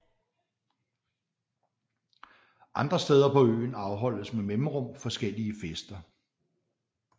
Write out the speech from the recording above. Andre steder på øen afholdes med mellemrum forskellige fester